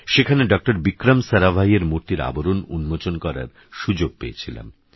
সেখানেডঃবিক্রমসারাভাইয়েরমূর্তিরআবরণউন্মোচনকরারসুযোগপেয়েছিলাম